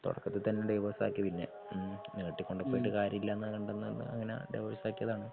തുടക്കത്തി തന്നെ ഡിവോഴ്സ് ആക്കി പിന്നെ ഉം നീട്ടികൊണ്ടു പോയിട്ട് കാര്യമില്ലെന്നു കണ്ടെന്നു അങ്ങനെ ഡിവോഴ്സ് ആക്കിയതാണ്.